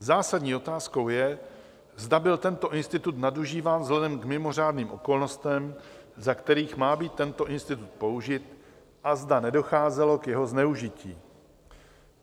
Zásadní otázkou je, zda byl tento institut nadužíván vzhledem k mimořádným okolnostem, za kterých má být tento institut použit, a zda nedocházelo k jeho zneužití.